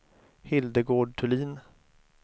Hildegard Thulin